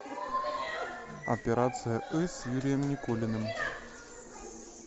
операция ы с юрием никулиным